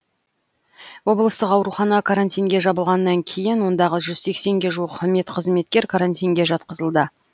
облыстық аурухана карантинге жабылғаннан кейін ондағы жүз сексенге жуық медқызметкер карантинге жатқызылды